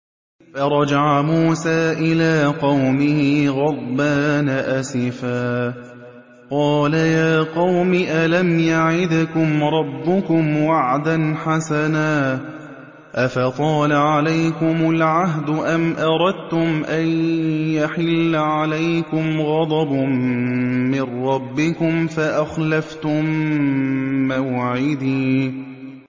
فَرَجَعَ مُوسَىٰ إِلَىٰ قَوْمِهِ غَضْبَانَ أَسِفًا ۚ قَالَ يَا قَوْمِ أَلَمْ يَعِدْكُمْ رَبُّكُمْ وَعْدًا حَسَنًا ۚ أَفَطَالَ عَلَيْكُمُ الْعَهْدُ أَمْ أَرَدتُّمْ أَن يَحِلَّ عَلَيْكُمْ غَضَبٌ مِّن رَّبِّكُمْ فَأَخْلَفْتُم مَّوْعِدِي